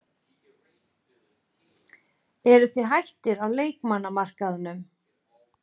Eruð þið hættir á leikmannamarkaðnum?